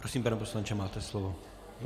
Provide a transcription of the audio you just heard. Prosím, pane poslanče, máte slovo.